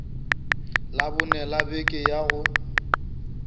labone la beke ya go